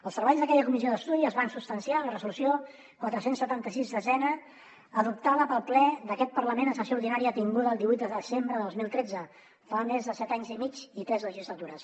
els treballs d’aquella comissió d’estudi es van substanciar en la resolució quatre cents i setanta sis x adoptada pel ple d’aquest parlament en sessió ordinària tinguda el divuit de desembre de dos mil tretze fa més de set anys i mig i tres legislatures